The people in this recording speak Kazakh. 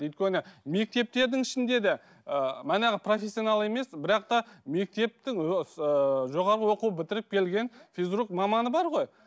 өйткені мектептердің ішінде де ыыы манағы профессионал емес бірақ та мектептің ыыы жоғары оқу бітіріп келген физрук маманы бар ғой